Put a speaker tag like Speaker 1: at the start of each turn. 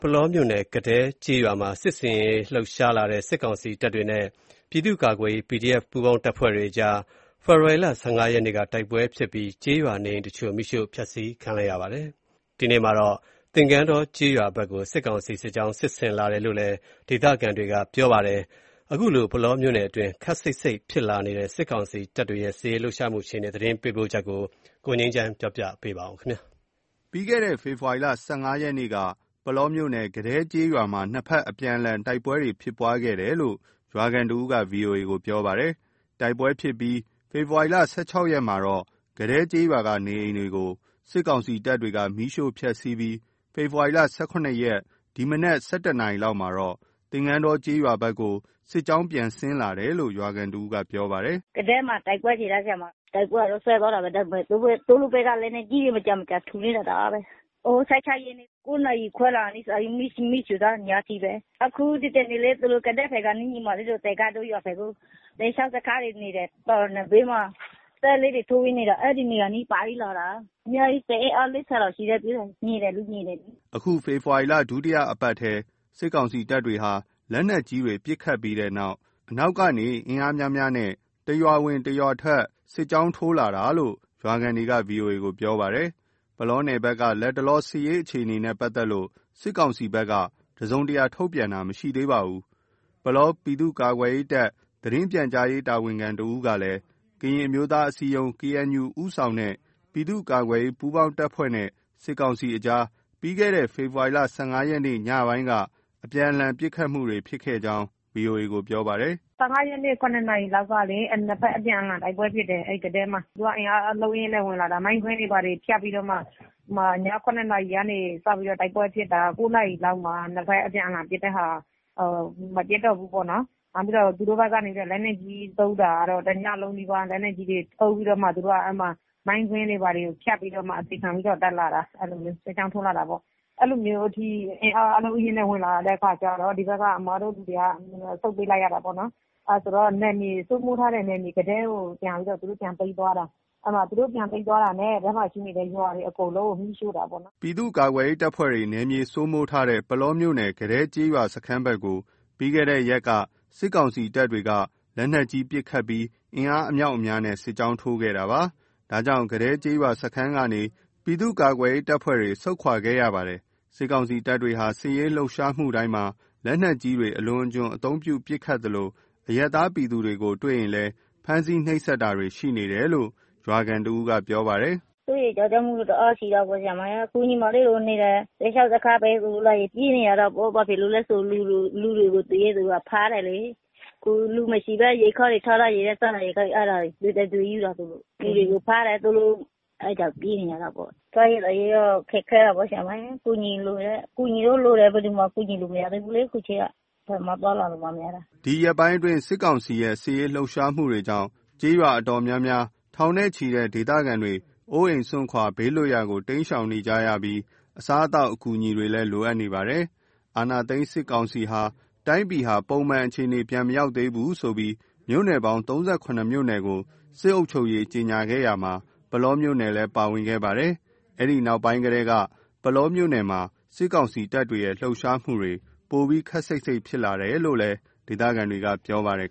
Speaker 1: ပုလောမြို့နယ် ကဒဲကျေးရွာမှာ စစ်ဆင်ရေးလှုပ်ရှားလာတဲ့ စစ်ကောင်စီတပ်တွေနဲ့ ပြည်သူ့ကာကွယ်ရေး PDF ပူးပေါင်းတပ်ဖွဲ့အကြား ဖေဖော်ဝါရီလ ၁၅ရက်နေ့က တိုက်ပွဲဖြစ်ပြီး ကျေးရွာနေအိမ်တချို့ မီးရှို့ဖျက်ဆီးခံရပါတယ်။ ဒီကနေ့မှာတော့ သင်္ကန်းတောကျေးရွာဖက်ကို စစ်ကောင်စီ စစ်ကြောင်းစစ်ဆင်လာတယ်လို့ ဒေသခံတွေကပြောပါတယ်။ ပုလောမြို့နယ်တွင်း ခပ်စိတ်စိတ်ဖြစ်လာတဲ့ စစ်ကောင်စီတပ်တွေရဲ့ စစ်ရေးလှုပ်ရှားမှုအခြေအနေ သတင်းပေးပို့ချက်ကို ကိုငြိမ်းချမ်းက တင်ပြပေးပါမယ်။ ပြီးခဲ့တဲ့ ဖေဖော်ရီလ ၁၅ ရက်နေ့က ပုလောမြို့နယ် ကဒဲကျေးရွာမှာ နှစ်ဖက်အပြန်အလှန် တိုက်ပွဲဖြစ်တယ်လို့ ရွာခံတစ်ဦးက VOA ကို ပြောပါတယ်။ တိုက်ပွဲဖြစ်ပြီး ဖေဖော်ဝါရီ ၁၆ ရက်မှာတော့ ကဒဲကျေးရွာ နေအိမ်တွေကို စစ်ကောင်စီတပ်တွေ မီးရှို့ဖျက်စီးပြီး ဖေဖော်ဝါရီ ၁၇ ရက် ဒီကနေ့မနက် ၁၁ နာရီလောက်မှာတော့ သင်္ကန်းတောကျေးရွာဘက်ကို စစ်ကြောင်းပြန်ဆင်းလာတယ်လို့ ရွာခံတစ်ဦးက ပြောပါတယ်။
Speaker 2: “ကဒဲမှာ တိုက်ပွဲဖြစ်တာ၊ တိုက်ပွဲကတော့ စဲသွားတာပဲ ဒါပေမယ့် သူတို့ဘက်က လက်နက်ကြီးတွေ မကြာမကြာထုနေတာ တအားပဲ၊ ဟို… ၁၆ ရက်နေ့က ၉ နာရီခွဲလာ မီးရှို့သွားတာ ညအထိပဲ။ အခု ဒီတနေ့လေ သူတို့ ကဒဲဖက်ကနေ ညီမလေးတို့ သင်္ကန်းတော ရွာဖက်ကို စစ်ရှောင်စခန်းတွေ နေတယ် တောင်နံဘေးမှာ တဲလေးတွေထိုးပြီးနေတာ အဲ့နေရာအနီးဖြတ်ပြီးလာတာ အများကြီး စစ်အင်အား ၄၀ လောက်ရှိတယ်(အဝေး လှမ်း)မြင်တယ်လေ မြင်တယ်။
Speaker 1: ” အခု ဖေဖော်ဝါရီလ ဒုတိယအပတ်ထဲက စစ်ကောင်စီတပ်တွေဟာ လက်နက်ကြီးတွေပစ်ခတ်ပြီးနောက်၊ အနောက်ကနေ အင်အားများများနဲ့ တစ်ရွာဝင် တစ်ရွာထွက် စစ်ကြောင်းထိုး ဝင်လာတာလို့ ရွာခံတွေက VOA ကို ပြောဆိုကြပါတယ်။ ပုလောနယ်ဘက်က လတ်တလော စစ်ရေးအခြေအနေနဲ့ ပတ်သက်လို့ စစ်ကောင်စီဘက်က တစုံတရာ ထုတ်ပြန်တာမရှိသေးပါဘူး။ ပုလောပြည်သူ့ကာကွယ်ရေးတပ် သတင်းပြန်ကြားရေး တာဝန်ခံတစ်ဦးကလည်း ကရင်အမျိုးသားအစည်းအရုံး (KNU) ဦးဆောင်တဲ့ ပြည်သူ့ကာကွယ်ရေး ပူးပေါင်းအဖွဲ့နဲ့ စစ်ကောင်စီအကြား ပြီးခဲ့တဲ့ ဖေဖော်ဝါရီလ ၁၅ ရက်နေ့ ညပိုင်းက နှစ်ဖက်အပြန်လှန်ပစ်ခတ်မှု ဖြစ်ကြောင်း VOA ကို ပြောပါတယ်။
Speaker 3: “၁၅ ရက်နေ့ ၇နာရီလောက်ကလေ နှစ်ဖက် အပြန်အလှန်တိုက်ပွဲဖြစ်တယ် ၊ သူက အင်အားအလုံးအရင်းနဲ့ ဝင်လာတာ မိုင်းကွင်းတွေဘာတွေ ဖြတ်ပြီးတော့ အဲ့မှာ ည ၇နာရီကနေစပြီးတော့ တိုက်ပွဲဖြစ်တယ် ၉ နာရီလောက်မှာ နှစ်ဖက်အပြန်အလှန်ပစ်တဲ့ မပစ်တော့ဘူးပေါ့နော်၊ နောက်ပြီးတော့ သူတို့ဘက်ကနေပြီးတော့ လက်နက်ကြီးသုံးတာကတော့ တညံးလုံးနီးပါး လက်နက်ကြီးတွေ သုံးပြီးတော့မှ သူတို့က အဲ့မှာ မိုင်းကွင်းတွေဘာတွေ ဖြတ်ပြီးတော့မှ တက်လာတာ အဲ့လိုမျိုး စစ်ကြောင်းထိုးလာတာပေါ့၊ အဲ့လိုမျိုးထိ အင်အားအလုံးအရင်းနဲ့ ဝင်လာတဲ့အခါကျတော့ အဲ့ဘက်က အစ်မတို့လူတွေက ဆုတ်ပေးလိုက်ရတာပေါ့နော် အဲ့ဆိုတော့ စိုးမိုးထားတဲ့ ကဒဲကို ပြန်ပြီးတော့ သူတို့ ပြန်သိမ်းသွားတာ၊ အဲ့မှာ သူတို့ ပြန်သိမ်းသွားတာနဲ့ အဲ့ထဲမှာရှိတဲ့ အိမ်တွေ အကုန်လုံးကို မီးရှို့တာပေါ့နော်
Speaker 1: ။” ပြည်သူ့ကာကွယ်ရေးပူးပေါင်းတပ်ဖွဲ့တွေ နယ်မြေ စိုးမိုးထားတဲ့ ပုလောမြို့နယ် ကဒဲကျေးရွာစခန်းဘက်ကို ပြီးခဲ့တဲ့ရက်က စစ်ကောင်စီတပ်တွေ လက်နက်ကြီးပစ်ခတ်ပြီး အင်အားအမြောက်အများနဲ့ စစ်ကြောင်းထိုးခဲ့တာပါ။ ဒါကြောင့် ကဒဲကျေးရွာစခန်းကနေ ပြည်သူ့ကာကွယ်ရေးပူးပေါင်းတပ်ဖွဲ့တွေ ဆုတ်ခွာခဲ့ရတယ်လို့လည်း သိရပါတယ်။ စစ်ကောင်စီတပ်တွေဟာ စစ်ရေးလှုပ်ရှားတိုင်းမှာ လက်နက်ကြီးတွေ အလွန်အကျွံအသုံးပြုပစ်ခတ်သလို အရပ်သားပြည်သူတွေကို တွေ့ရင် ဖမ်းဆီးနှိပ်စက်တာတွေရှိတယ်လို့ ရွာခံ တစ်ဦးက ပြောပါတယ်
Speaker 2: ။ “စိုးရိမ်းကြောက်ကြမှုတော့ တအားရှိတယ်၊ အခုညီမလေးတို့နေတဲ့ စစ်ရှောင်စခန်းဘက်ကို လာရင် ပြေးနေရတာပေါ့ ဘာဖြစ်လို့လဲဆို တွေ့တဲ့လူတွေကို ဖမ်းတယ်လေ၊ အခုလူမရှိဘဲ ထားထားတဲ့စားနပ်ရိက္ခာကို အဲ့ဒါ သူတို့ ယူတယ်၊ လူတွေကို ဖမ်းတယ်ဆိုလို့ အဲ့ကြောက်ပြေးနေရတာပေ့ါ။ စားရေးသောက်ရေးက ခက်ခဲတာပေါ့ ဆရာမရယ် ကူညီလိုတယ်၊ အကူအညီတော့လိုတယ် ဘယ်သူမှကူညီလို့မရသေးဘူးလေ အခုချိန်က ဘယ်မှသွားလာလို့မှမရတာ။
Speaker 1: ” ဒီရက်ပိုင်းအတွင်း စစ်ကောင်စီ စစ်ရေးလှုပ်ရှားမှုကြောင့် ကျေးရွာအတော်များများ ထောင်နဲ့ ချီတဲ့ ဒေသခံတွေ အိုးအိမ်စွန့်ခွာ ဘေးလွတ်ရာကို တိမ်းရှောင်နေကြရပြီး အစားအသောက်အကူအညီတွေလည်း လိုအပ်နေကြပါတယ်။ အာဏာသိမ်းစစ်ကောင်စီဟာ တိုင်းပြည်ဟာ ပုံမှန်အခြေအနေမရောက်သေးဘူးဆိုပြီး မြို့နယ်ပေါင်း ၃၇ မြို့နယ်ကို စစ်အုပ်ချုပ်ရေးကြေညာခဲ့ရာမှာ၊ ပုလောမြို့နယ်လည်း ပါဝင်ခဲ့ပါတယ်။ အဲဒီနောက်ပိုင်းကတည်းက ပုလောမှာ စစ်ကောင်စီတပ်ရဲ့ လှုပ်ရှားမှုတွေ ပိုပြီး ခပ်စိတ်စိတ်ဖြစ်လာတယ်လို့ ဒေသခံတွေက ပြောပါတယ်